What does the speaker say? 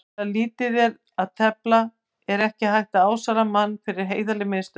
Þegar um lífið er að tefla er ekki hægt að álasa manni fyrir heiðarleg mistök.